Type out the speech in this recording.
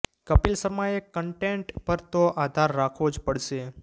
કપિલ શર્માએ કન્ટેન્ટ પર તો આધાર રાખવો જ પડશે